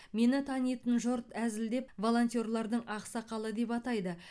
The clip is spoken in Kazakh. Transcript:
мені танитын жұрт әзілдеп волонтерлардың ақсақалы деп атайды